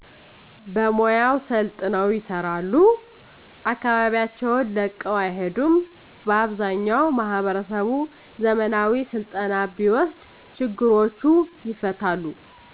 በሙያው ሰልጥነው ይሰራሉ አከባቢያቸውን ለቀው አይሄዱም በአብዛኛው ማህበረሰቡ ዘመናዊ ስልጠና ቢወስድ ችግሮቹ ይፈታሉ።